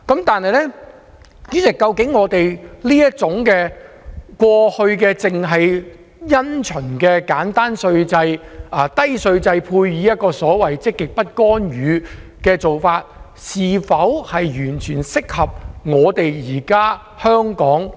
但是，主席，究竟過去這種因循的簡單低稅制，配合積極不干預政策，是否完全適合今天的香港？